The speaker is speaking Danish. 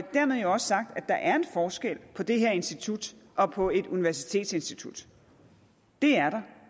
dermed jo også sagt at der er en forskel på det her institut og på et universitetsinstitut det er der